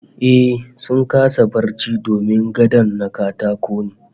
Ehh, sun kasa barci domin gadon na katako ne